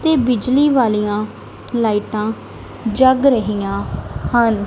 ਤੇ ਬਿਜਲੀ ਵਾਲੀਆਂ ਲਾਈਟਾਂ ਜੱਗ ਰਹੀਆਂ ਹਨ।